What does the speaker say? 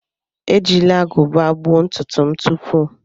Ejila agụba gbuo ntutu m tupu.